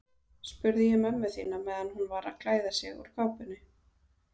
spurði ég mömmu þína meðan hún var að klæða sig úr kápunni.